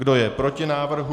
Kdo je proti návrhu?